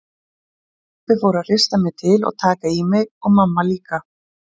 Pabbi fór að hrista mig til og taka í mig og mamma líka.